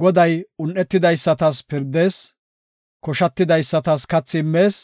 Goday un7etidaysatas pirdees; koshatidaysatas kathi immees;